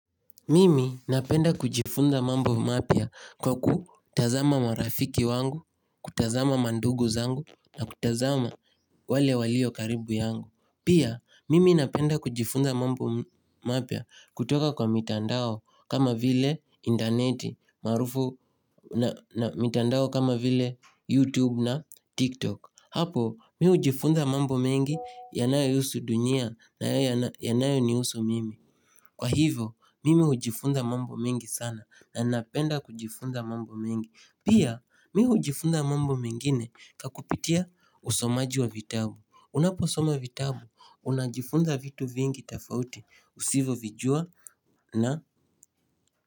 Mimi napenda kujifunza mambo mapya kwa kutazama marafiki wangu, kutazama mandugu zangu na kutazama wale walio karibu yangu. Pia, mimi napenda kujifunza mambo mapya kutoka kwa mitandao kama vile intaneti marufu na mitandao kama vile YouTube na TikTok. Hapo, mi hujifunza mambo mengi yanayo ihusu dunia na yanayo ni husu mimi. Kwa hivyo mimi ujifunza mambo mengi sana na ninapenda kujifunza mambo mingi Pia mimi ujifunza mambo mengine ka kupitia usomaji wa vitabu Unaposoma vitabu unajifunza vitu vingi tafauti usivovijua na.